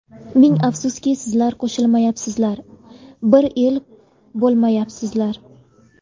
Ming afsuski, sizlar qo‘shilmayapsizlar, bir el bo‘lmayapsizlar.